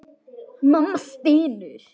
Mamma stynur.